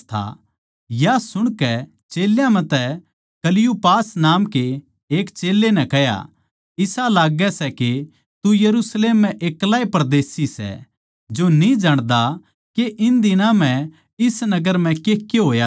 या सुणकै चेल्यां म्ह तै क्‍लियुपास नाम के एक चेल्लें नै कह्या इसा लाग्गै सै के तू यरुशलेम म्ह एक्ला परदेशी सै जो न्ही जाण्दा के इन दिनां म्ह इस नगर म्ह केके होया सै